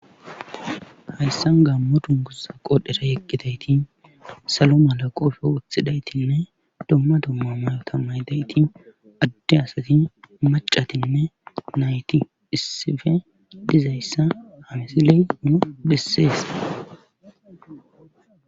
Hayssan gammo dungusa qodhera yeqqidayti salo mala qofe wothidaytinne domma domma mayota maydayti adde asati macatinne nayti issife dizayssa hamsiley nu bisseese